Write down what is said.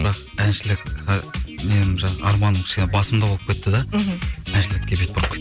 бірақ әншілікке нем жаңа арманым кішкене басымдау болып кетті да мхм әншілікке бет бұрып